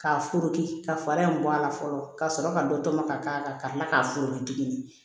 K'a forigi ka fara in bɔ a la fɔlɔ ka sɔrɔ ka dɔ tɔmɔ ka k'a la ka kila k'a foronto tugun